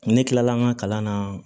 Ne kilala an ka kalan na